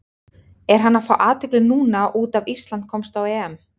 Er hann að fá athygli núna út af Ísland komst á EM?